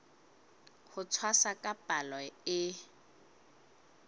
ho tshwasa ka palo e